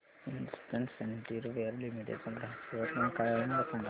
Hindustan sanitaryware limited चा ग्राहक सेवा क्रमांक काय आहे मला सांगा